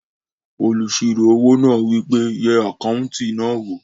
Olùsirò owó náà wí pé "yẹ àkáùntì náà wò!"